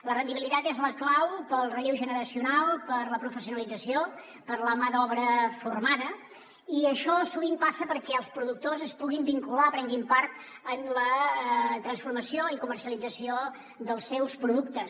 la rendibilitat és la clau per al relleu generacional per a la professionalització per a la mà d’obra formada i això sovint passa perquè els productors es puguin vincular prenguin part en la transformació i comercialització dels seus productes